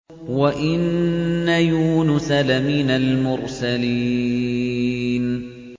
وَإِنَّ يُونُسَ لَمِنَ الْمُرْسَلِينَ